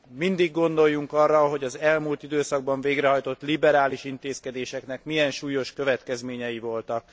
Mindig gondoljunk arra, hogy az elmúlt időszakban végrehajtott liberális intézkedéseknek milyen súlyos következményei voltak.